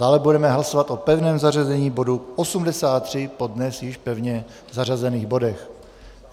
Dále budeme hlasovat o pevném zařazení bodu 83 po dnes již pevně zařazených bodech.